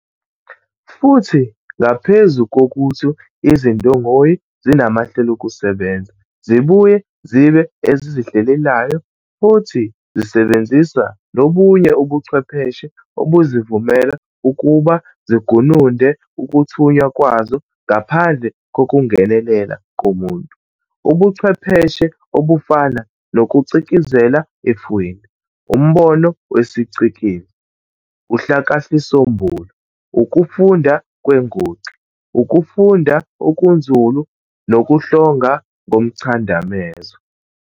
Futhi ngaphezu kokuthi izindongoyi zinamahlelokusebenza, zibuye zibe ezizihlelelekayo futhi zisebenzisa nobunye ubuchwepheshe obuzivumela ukuba zigununde ukuthunywa kwazo ngaphandle kokubgenelela komuntu, ubuchwepheshe obufana nokucikizela efwini, umbono wesiCikiz, uhlakahlisombulu, Ukufunda kwenguxa, Ukufunda okunzulu nokuhlonga ngomchadamezo.